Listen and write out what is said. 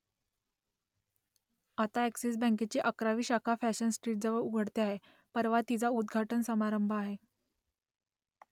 आता अ‍ॅक्सिस बँकेची अकरावी शाखा फॅशन स्ट्रीटजवळ उघडते आहे परवा तिचा उद्घाटन समारंभ आहे